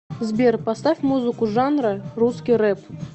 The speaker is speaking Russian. сбер поставь музыку жанра русский рэп